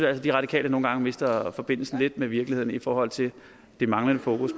at de radikale nogle gange mister forbindelsen lidt med virkeligheden i forhold til det manglende fokus